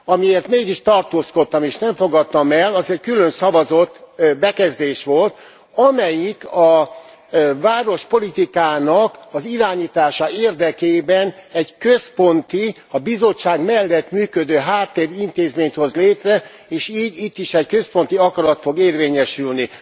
Amiért mégis tartózkodtam és nem fogadtam el, az egy külön szavazott bekezdés volt, amelyik a várospolitikának az irányítása érdekében egy központi, a Bizottság mellett működő háttérintézményt hoz létre és így itt is egy központi akarat fog érvényesülni.